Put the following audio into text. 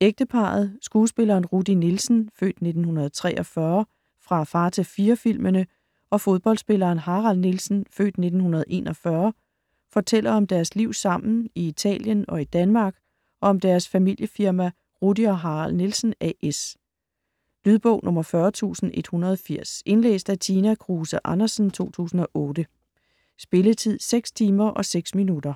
Ægteparret skuespilleren Rudi Nielsen (f. 1943) fra Far til fire-filmene og fodboldspilleren Harald Nielsen (f. 1941) fortæller om deres liv sammen i Italien og i Danmark og om deres familiefirma Rudi og Harald Nielsen A/S. Lydbog 40180 Indlæst af Tina Kruse Andersen, 2008. Spilletid: 6 timer, 6 minutter.